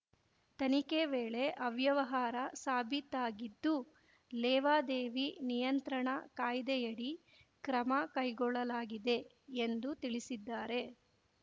ತನಿಖೆ ವೇಳೆ ಅವ್ಯವಹಾರ ಸಾಬೀತಾಗಿದ್ದು ಲೇವಾದೇವಿ ನಿಯಂತ್ರಣ ಕಾಯ್ದೆಯಡಿ ಕ್ರಮ ಕೈಗೊಳ್ಳಲಾಗಿದೆ ಎಂದು ತಿಳಿಸಿದ್ದಾರೆ